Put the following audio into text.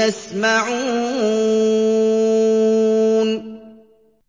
يَسْمَعُونَ